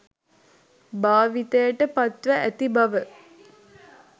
භාවිතයට පත්ව ඇති බව